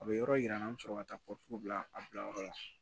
A bɛ yɔrɔ yira an na an bɛ sɔrɔ ka taa bila a bilayɔrɔ la